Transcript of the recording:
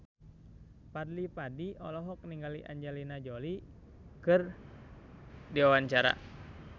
Fadly Padi olohok ningali Angelina Jolie keur diwawancara